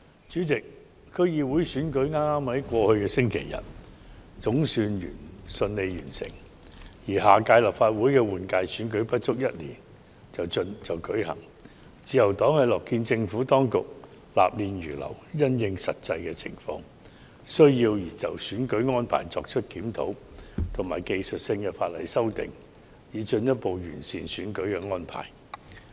主席，區議會選舉在剛過去的星期日總算順利完成，而下屆立法會換屆選舉不足一年後便會舉行，自由黨樂見政府當局納諫如流，因應實際情況及需要，就選舉安排對法例作出檢討及技術性修訂，進一步完善選舉安排。